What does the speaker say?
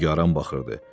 Nigaran baxırdı.